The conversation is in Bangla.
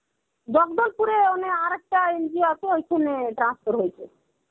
জগদলপুরে মানে আরেকটা NGO আছে ঐখানে transfer হয়েছে.